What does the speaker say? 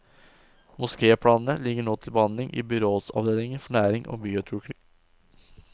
Mosképlanene ligger nå til behandling i byrådsavdelingen for næring og byutvikling.